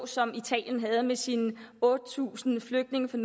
som italien havde det med sine otte tusind flygtninge fra